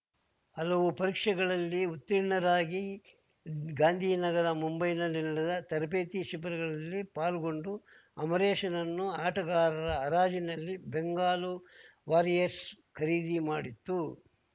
ಹಲವು ಪರೀಕ್ಷೆಗಳಲ್ಲಿ ಉತ್ತೀರ್ಣರಾಗಿ ಗಾಂಧಿನಗರ ಮುಂಬೈನಲ್ಲಿ ನಡೆದ ತರಬೇತಿ ಶಿಬಿರಗಳಲ್ಲಿ ಪಾಲ್ಗೊಂಡು ಅಮರೇಶ್‌ನನ್ನು ಆಟಗಾರರ ಹರಾಜಿನಲ್ಲಿ ಬೆಂಗಾಲು ವಾರಿಯರ್ಸ್ ಖರೀದಿ ಮಾಡಿತ್ತು